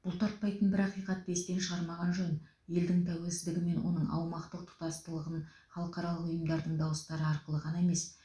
бұлтартпайтын бір ақиқатты естен шығармаған жөн елдің тәуелсіздігі мен оның аумақтық тұтастылығын халықаралық ұйымдардың дауыстары арқылы ғана емес